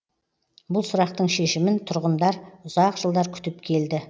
бұл сұрақтың шешімін тұрғындар ұзақ жылдар күтіп келді